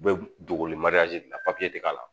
U bɛ dogoli de la ti k'a la